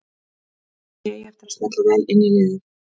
Ég held að ég eigi eftir að smella vel inn í liðið.